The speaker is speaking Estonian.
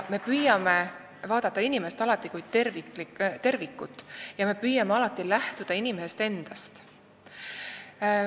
Me püüame alati vaadata inimest kui tervikut ja lähtuda inimesest endast.